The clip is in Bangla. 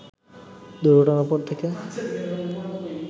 দুর্ঘটনার পর থেকে